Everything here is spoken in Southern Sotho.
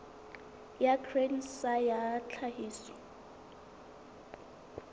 ya grain sa ya tlhahiso